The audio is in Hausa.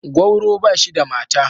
Gwauro ba shi da mata.